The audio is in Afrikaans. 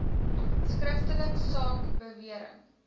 skriftelik saak bewering